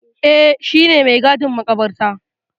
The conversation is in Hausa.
Eh, shi ne mai gadin maƙabarta.